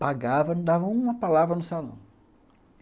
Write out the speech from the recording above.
Pagava, não dava uma palavra no salão.